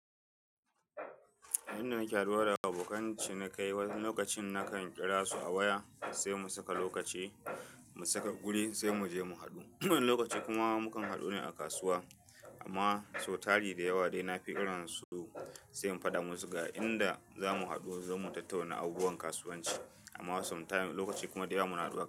Inda nake haduwa da abokan cinikayi, wani lokacin nakan kira su a waya sai mu saka lokaci mu saka guri sai mu je mu hadu. Wani lokaci kuma mukan hadu ne a kasuwa amma sau tari da yawa dai na fi kiransu sai in faɗa musu ga inda za mu hadu, zamu tattauna abubuwan kasuwanci amma sometimes lokaci kuma da yawa mu haɗo haka.